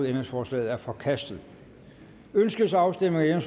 ændringsforslaget er forkastet ønskes afstemning om